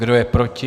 Kdo je proti?